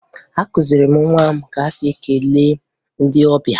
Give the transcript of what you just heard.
Akụziri m nwa m ka e si ekele ndị ọbịa